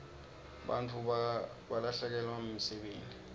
bantfu balahlekelwa msebenti